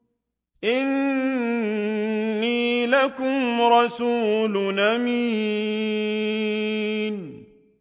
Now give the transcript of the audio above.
إِنِّي لَكُمْ رَسُولٌ أَمِينٌ